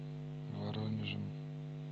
воронежем